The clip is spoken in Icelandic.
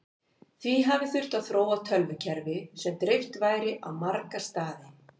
því hafi þurft að þróa tölvukerfi sem dreift væri á marga staði